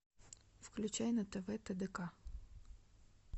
включай на тв тдк